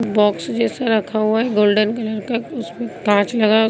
box जैसा रखा हुआ है गोल्डन कलर का उसमें कांच लगा --